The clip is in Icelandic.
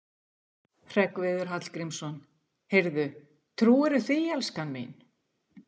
Hreggviður Hallgrímsson: Heyrðu, trúirðu því, elskan mín?